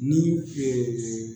Ni ee